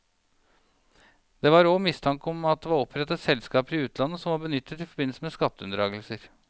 Det var og mistanke om at det var opprettet selskaper i utlandet som var benyttet i forbindelse med skatteunndragelser.